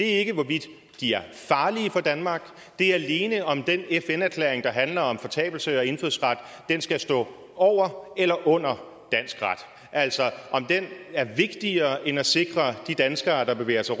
er ikke hvorvidt de er farlige for danmark det er alene om den fn erklæring der handler om fortabelse af indfødsret skal stå over eller under dansk ret altså om den er vigtigere end at sikre de danskere der bevæger sig